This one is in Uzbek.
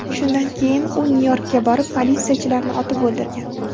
Shundan keyin u Nyu-Yorkka borib, politsiyachilarni otib o‘ldirgan.